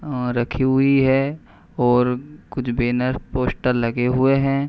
और रखी हुई है और कुछ बैनर पोस्टर लगे हुए हैं।